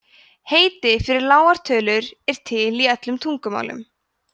heiti fyrir lágar tölur eru til í öllum tungumálum